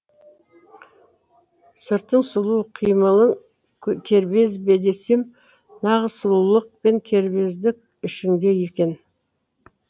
сыртың сұлу қимылың кербез бе десем нағыз сұлулық пен кербездік ішіңде екен